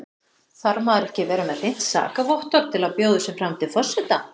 Þarf maður ekki að vera með hreint sakavottorð til að bjóða sig fram til forseta?